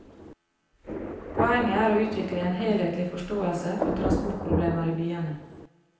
Poenget er å utvikle en helhetlig forståelse for tranportproblemer i byene.